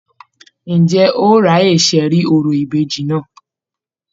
Ǹjẹ́ o ráyè ṣẹ̀rí orò ìbejì náà?